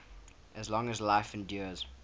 as long as life endures